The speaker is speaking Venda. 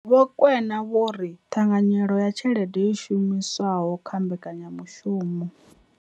Vho Rakwena vho ri ṱhanganyelo ya tshelede yo shumiswaho kha mbekanya mushumo.